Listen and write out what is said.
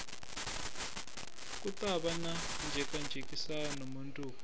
ku tava na njhekanjhekisano mundzuku